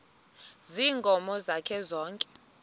ziinkomo zakhe zonke